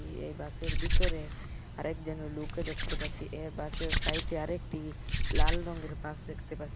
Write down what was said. ই এ বাসের ভিতরে আরেকজন লুকও দেখতে পাচ্ছি এ বাসের সাইটে আরেকটি লাল রঙের বাস দেখতে পাচ্ছি।